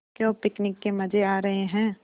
क्यों पिकनिक के मज़े आ रहे हैं